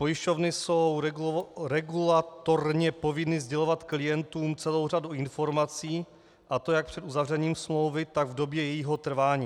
Pojišťovny jsou regulatorně povinny sdělovat klientům celou řadu informací, a to jak před uzavřením smlouvy, tak v době jejího trvání.